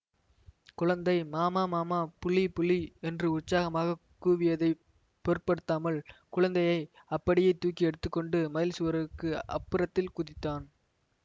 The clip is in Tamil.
குழந்தை மாமா மாமா புலி புலி என்று உற்சாகமாகக் கூவியதைப் பொருட்படுத்தாமல் குழந்தையை அப்படியே தூக்கி எடுத்து கொண்டு மதில் சுவருக்கு அப்புறத்தில் குதித்தான்